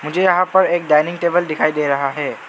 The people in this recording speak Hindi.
मुझे यहां पर एक डाइनिंग टेबल दिखाई दे रहा है।